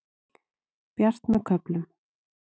Bjart með köflum